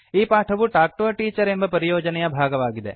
ಈ ಪಾಠವು talk to a teacher ಎಂಬ ಪರಿಯೋಜನೆಯ ಭಾಗವಾಗಿದೆ